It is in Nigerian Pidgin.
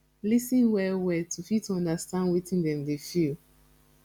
lis ten well well to fit understand wetin dem dey feel